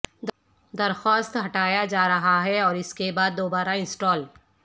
درخواست ہٹایا جا رہا ہے اور اس کے بعد دوبارہ انسٹال